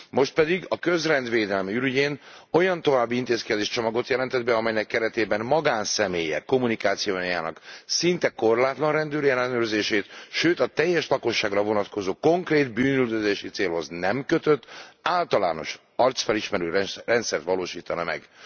Most pedig a közrend védelme ürügyén olyan további intézkedéscsomagot jelentett be, amelynek keretében magánszemélyek kommunikációjának szinte korlátlan rendőri ellenőrzését, sőt a teljes lakosságra vonatkozó konkrét bűnüldözési célhoz nem kötött általános arcfelismerő rendszert valósítana meg.